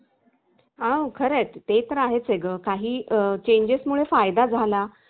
अश्याच प्रमाणे मित्रानो आपण entertainment मध्ये आपल्याला आवडणाऱ्या गोष्टी किंवा आपल्याला आवडनारा छंद तोही जोपासू शकतो